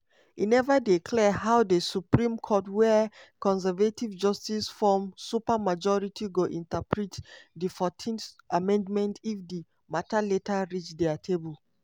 e neva dey clear how di supreme court wia conservative justices form supermajority go interpret di 14th amendment if di mata later reach dia table.